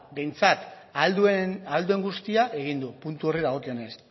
beno ba behintzat ahal duen guztia egin du puntu horri dagokionez